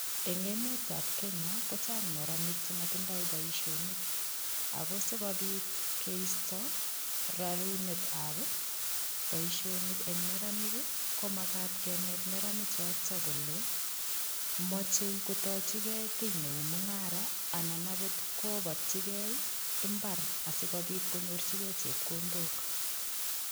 Eng emetab Kenya, ko chang neranik chematindoi boisionik ago sigopit keisto rarunekab boisionik en neranik ii ko magat kenet neratik choto kole macheikotochige kiy neu mungara anan agot kobatyige imbar asigopit konyorchige chepkondok.